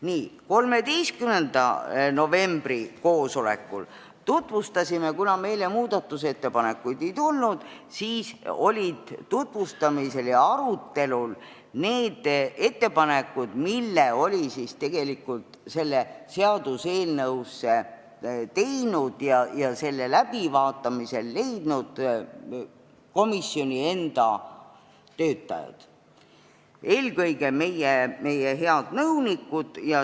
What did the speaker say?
Nii, 13. novembri koosolekul olid, kuna meile muudatusettepanekuid ei tulnud, tutvustamisel ja arutelul need ettepanekud, mille olid seaduseelnõu läbivaatamisel teinud komisjoni enda töötajad, eelkõige meie head nõunikud.